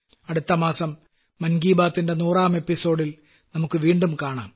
അടുത്ത മാസം മൻ കീ ബാത്തിന്റെ 100ാം എപ്പിസോഡിൽ നമുക്ക് വീണ്ടും കാണാം